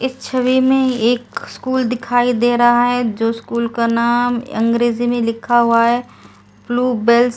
इस छवि में एक स्कूल दिखाई दे रहा है जो स्कूल का नाम अंग्रेजी में लिखा हुआ है ब्लू बेल्स ।